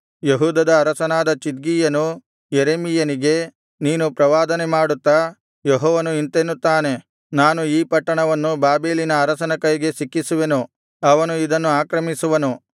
ಯೆಹೂದದ ಅರಸನಾದ ಚಿದ್ಕೀಯನು ಯೆರೆಮೀಯನಿಗೆ ನೀನು ಪ್ರವಾದನೆ ಮಾಡುತ್ತಾ ಯೆಹೋವನು ಇಂತೆನ್ನುತ್ತಾನೆ ನಾನು ಈ ಪಟ್ಟಣವನ್ನು ಬಾಬೆಲಿನ ಅರಸನ ಕೈಗೆ ಸಿಕ್ಕಿಸುವೆನು ಅವನು ಇದನ್ನು ಆಕ್ರಮಿಸುವನು